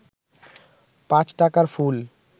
৫ টাকার ফুল